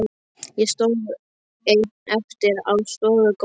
Ég stóð ein eftir á stofugólfinu.